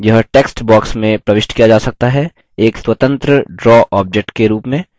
यह text box में प्रविष्ट किया जा सकता है एक स्वतंत्र draw object के रूप में